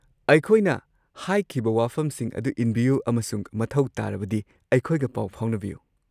ꯑꯩꯈꯣꯏꯅ ꯍꯥꯏꯈꯤꯕ ꯋꯥꯐꯝꯁꯤꯡ ꯑꯗꯨ ꯏꯟꯕꯤꯌꯨ ꯑꯃꯁꯨꯡ ꯃꯊꯧ ꯇꯥꯔꯕꯗꯤ ꯑꯩꯈꯣꯏꯒ ꯄꯥꯎ ꯐꯥꯎꯅꯕꯤꯌꯨ꯫